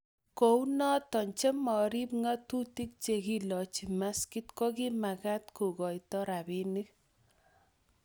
kou noto che marub ng'atutik che kilochi maskit ko kimekat ko koito robinik